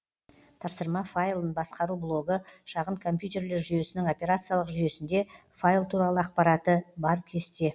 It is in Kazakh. тапсырма файлын басқару блогы шағын компьютерлер жүйесінің операциялық жүйесінде файл туралы ақпараты бар кесте